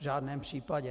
V žádném případě.